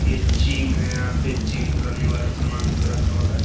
ये जिम है यहाँ जिम कएने वाला सामान सब रखा हुआ है।